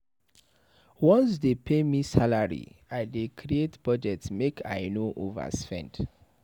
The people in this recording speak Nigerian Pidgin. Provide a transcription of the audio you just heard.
Once dem pay me salary, I dey create budget make I no overspend.